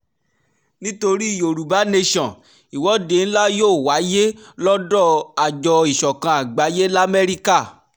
nítorí yorùbá nation ìwọ́de ńlá yóò wáyé lọ́dọ̀ àjọ ìsọ̀kan àgbáyé lamẹ́ríkà